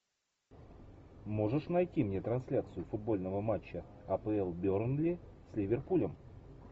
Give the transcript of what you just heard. можешь найти мне трансляцию футбольного матча апл бернли с ливерпулем